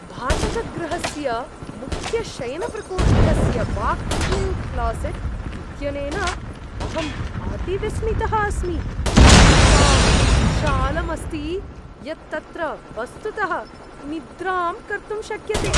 भाटकगृहस्य मुख्यशयनप्रकोष्ठस्य walk in closet इत्यनेन अहम् अतिविस्मितः अस्मि, एतावत् विशालम् अस्ति यत् तत्र वस्तुतः निद्रां कर्तुं शक्यते।